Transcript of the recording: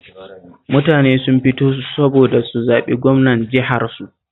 Mutane sun fito saboda su zaɓi gwamnan jiharsu